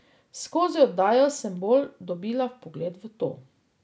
Skozi oddajo sem bolj dobila vpogled v to.